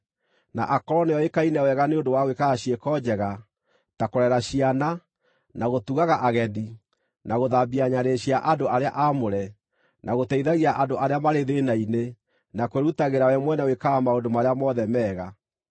na akorwo nĩoĩkaine wega nĩ ũndũ wa gwĩkaga ciĩko njega, ta kũrera ciana, na gũtugaga ageni, na gũthambia nyarĩrĩ cia andũ arĩa aamũre, na gũteithagia andũ arĩa marĩ thĩĩna-inĩ, na kwĩrutagĩra we mwene gwĩkaga maũndũ marĩa mothe mega.